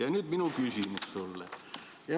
Ja nüüd minu küsimus sulle.